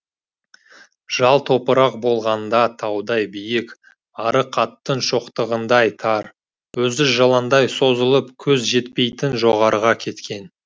жал топырақ болғанда таудай биік арық аттың шоқтығындай тар өзі жыландай созылып көз жетпейтін жоғарыға кеткен